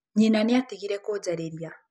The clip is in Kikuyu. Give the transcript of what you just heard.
Nyina nĩ atigire kũnjarĩria.